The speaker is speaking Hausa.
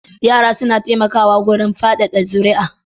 Yara suna taimakawa wajen fadada zuriya